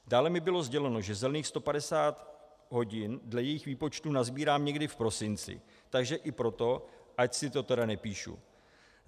Dále mi bylo sděleno, že zelených 150 hodin dle jejich výpočtu nasbírám někdy v prosinci, takže i proto ať si to tedy nepíšu.